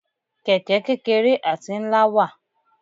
Kẹ̀kẹ́ kékeré àti ńlá wà.